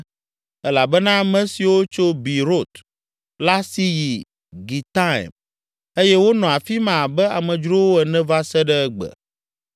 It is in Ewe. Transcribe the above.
elabena ame siwo tso Beerot la si yi Gitaim eye wonɔ afi ma abe amedzrowo ene va se ɖe egbe.